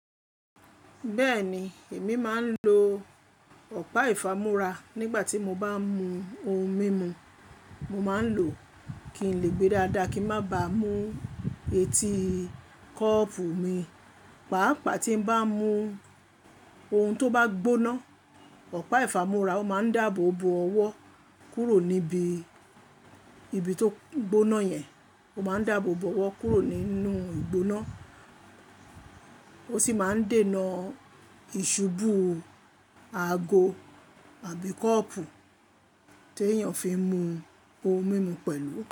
Bẹ́ẹ̀ni, èmi máa ń lo ọ̀pá ìfámora nígbà tí mo bá ń mu ohun mímu. Mo máa ń lò ó kí n lè gbe dáadáa, kí má ba mú etí kọ́ọ̀pù mi. Pàápàá tí n bá mu ohun tó bá gbóná, ọ̀pá ìfámora máa ń dáàbò bo ọwọ́ kúrò níbi, ibi tó gbóná yẹn. Ó máa ń dáàbò bo ọwọ́ kúrò nínú ìgbóná, ó sì máa ń dènà ìṣubú ago àbí kọ́ọ̀pù tí èèyàn fi ń mu ohun mímu pẹ̀lú.